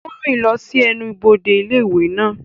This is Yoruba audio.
Ó ń rìn lọ sí ẹnubodè ilé ìwé náà.